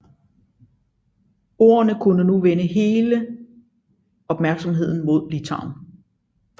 Ordenen kunne nu vende hele opmærksomheden mod Litauen